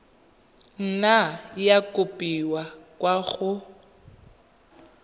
nna ya kopiwa kwa go